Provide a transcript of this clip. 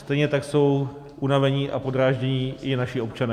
Stejně tak jsou unavení a podráždění i naši občané.